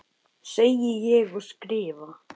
Segi ég og skrifa.